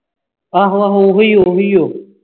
ਆਹੋ ਆਹੋ ਉਹੋ ਹੀ ਉਹ